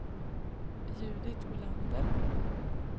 Judit Olander